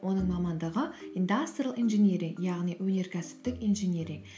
оның мамандығы индастриал инжиниринг яғни өнеркәсіптік инжиниринг